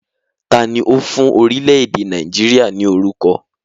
Taàní ó fún orílẹ̀ èdè Nàìjíríà ni orúkọ?